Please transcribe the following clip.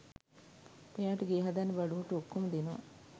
එයාට ගේ හදන්න බඩු මුට්ටු ඔක්කොම දෙනවා